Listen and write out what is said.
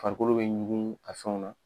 Farikolo bɛ ɲugu a fɛnw na